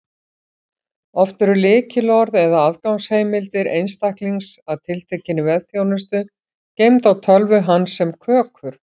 Oft eru lykilorð eða aðgangsheimildir einstaklings að tiltekinni vefþjónustu geymd á tölvu hans sem kökur.